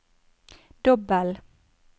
dobbel